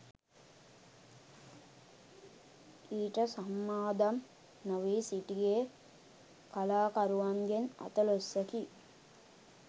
ඊට සම්මාදම් නොවී සිටියේ කලාකරුවන්ගෙන් අතලොස්සකි